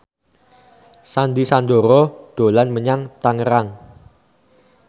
Sandy Sandoro dolan menyang Tangerang